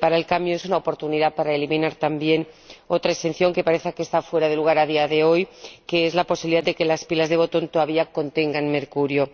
para el cadmio es una oportunidad para eliminar, también, otra exención que parece que está fuera de lugar a día de hoy, como es la posibilidad de que las pilas de botón todavía contengan mercurio.